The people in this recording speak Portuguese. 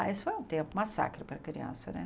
Ah, esse foi um tempo massacre para a criança, né?